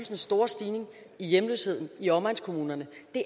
den store stigning i hjemløsheden i omegnskommunerne